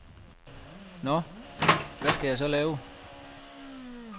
Nå, hvad skal jeg så lave?